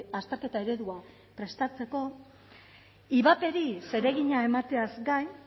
azterketa eredua prestatzeko ivaperi zeregina emateaz gain